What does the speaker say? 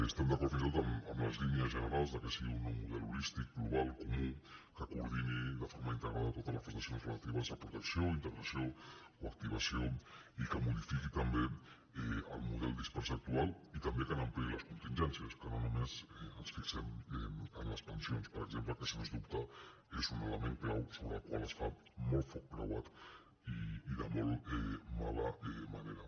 estem d’acord fins i tot en les línies generals que sigui un nou model holístic global comú que coordini de forma integrada totes les prestacions relatives a protecció o integració o activació i que modifiqui també el model dispers actual i també que n’ampliï les contingències que no només ens fixem en les pensions per exemple que sens dubte és un element clau sobre el qual es fa molt foc creuat i de molt mala manera